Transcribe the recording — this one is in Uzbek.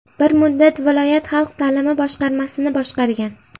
Bir muddat viloyat xalq ta’limi boshqarmasini boshqargan.